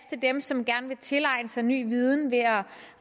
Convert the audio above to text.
dem som gerne vil tilegne sig ny viden ved at